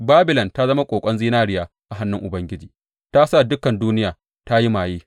Babilon ta zama ƙoƙon zinariya a hannun Ubangiji, ta sa dukan duniya ta yi maye.